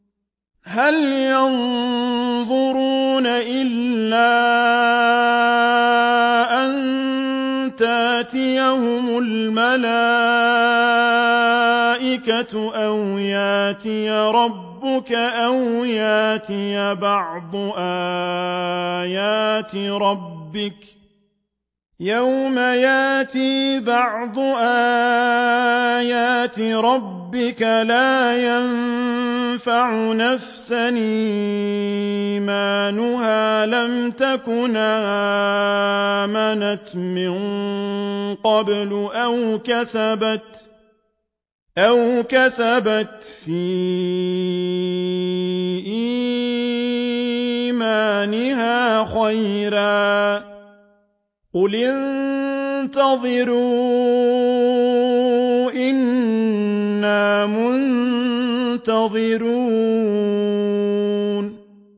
هَلْ يَنظُرُونَ إِلَّا أَن تَأْتِيَهُمُ الْمَلَائِكَةُ أَوْ يَأْتِيَ رَبُّكَ أَوْ يَأْتِيَ بَعْضُ آيَاتِ رَبِّكَ ۗ يَوْمَ يَأْتِي بَعْضُ آيَاتِ رَبِّكَ لَا يَنفَعُ نَفْسًا إِيمَانُهَا لَمْ تَكُنْ آمَنَتْ مِن قَبْلُ أَوْ كَسَبَتْ فِي إِيمَانِهَا خَيْرًا ۗ قُلِ انتَظِرُوا إِنَّا مُنتَظِرُونَ